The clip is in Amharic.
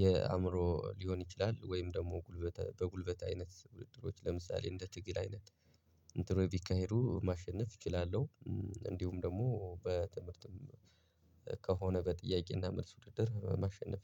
የአእምሮ ሊሆን ይችላል ወይም ደግሞ ጉልበት በጉልበት አይነት ውድድሮች ለምሳሌ እንደ ትግል አይነት እንትኖች ቢካሄዱ ማሸነፍ እችላለሁ። እንዲሁም ደግሞ በትምህርትም ከሆነ በጥያቄና መልስ ውድድር ማሸነፍ